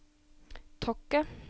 Tokke